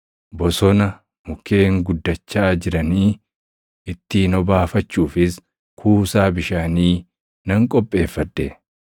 Bosona mukkeen guddachaa jiranii ittiin obaafachuufis kuusaa bishaanii nan qopheeffadhe.